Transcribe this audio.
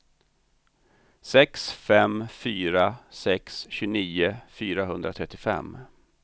sex fem fyra sex tjugonio fyrahundratrettiofem